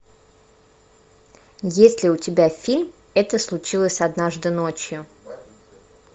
есть ли у тебя фильм это случилось однажды ночью